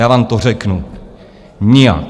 Já vám to řeknu: nijak.